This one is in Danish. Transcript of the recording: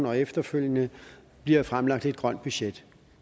og efterfølgende bliver fremlagt et grønt budget